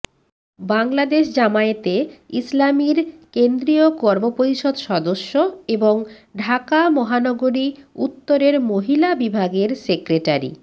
বাংলাদেশ জামায়াতে ইসলামীর কেন্দ্রীয় কর্মপরিষদ সদস্য এবং ঢাকা মহানগরী উত্তরের মহিলা বিভাগের সেক্রেটারি